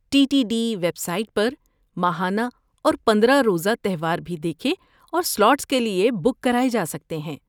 T T D website پر ماہانہ اور پندرہ روزہ تہوار بھی دیکھے اور سلاٹس کے لیے بک کرائے جا سکتے ہیں۔